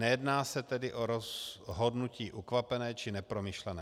Nejedná se tedy o rozhodnutí ukvapené či nepromyšlené.